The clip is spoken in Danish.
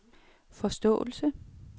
forståelse